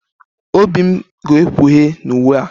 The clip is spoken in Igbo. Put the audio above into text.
Obi m ga-ekpughe n'uwe a